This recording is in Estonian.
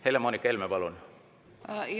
Helle-Moonika Helme, palun!